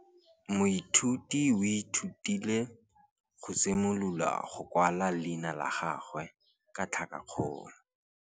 Moithuti o ithutile go simolola go kwala leina la gagwe ka tlhakakgolo.